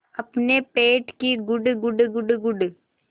अपने पेट की गुड़गुड़ गुड़गुड़